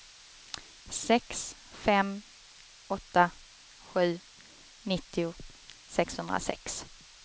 sex fem åtta sju nittio sexhundrasex